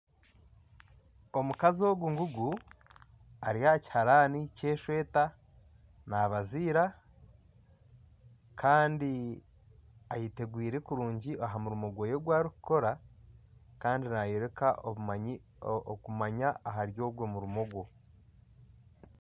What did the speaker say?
Omukazi ogu ngugu ari aha kiharani ky'eshweta nabiziira kandi ayetegwire kurungi aha murimo gwe ogu arikukora kandi nayoreka okumanya ahari ogwe murimo gwe